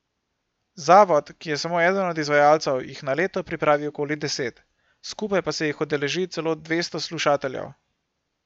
Zavod, ki je samo eden od izvajalcev, jih na leto pripravi okoli deset, skupaj pa se jih udeleži celo dvesto slušateljev.